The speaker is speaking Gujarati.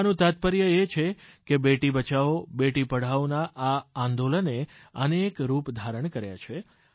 કહેવાનું તાત્પર્ય એ છે કે બેટી બચાવોબેટી પઢાઓ ના આ આંદોલને અનેક રૂપ ધારણ કર્યા છે